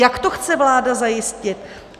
Jak to chce vláda zajistit?